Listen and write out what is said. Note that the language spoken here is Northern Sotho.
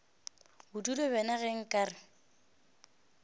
bodutu bjona ge nka re